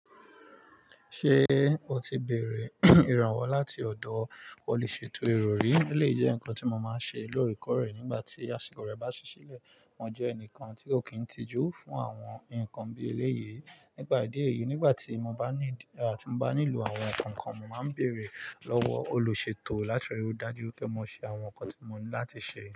Ṣé o ti béèrè ìrànwọ́ láti ọ̀dọ̀ olùṣètò ìròrí? É lé jẹ́ ǹkan tí mo máa ń ṣe lóòrèkóòrè nígbà tí àsìkò rẹ̀ bá ṣí sílẹ̀. Wọ́n jẹ́ ẹnìkan tí ó kì í tijú fún àwọn ǹkan bí ẹlẹ́yìí. Nípà ìdí èyí, nígbà tí mo bá nílò àwọn ǹkan kan, mo máa ń bèèrè lọ́wọ́ olùṣètò láti rí i dájú pé mo ṣe àwọn ǹkan tí mo ní láti ṣe.